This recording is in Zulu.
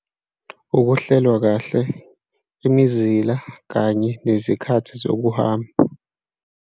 Ukuhlelwa kahle imizila kanye nezikhathi zokuhamba.